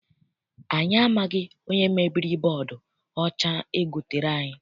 Anyị amaghị onye mebiri bọdu ọcha egotere anyị.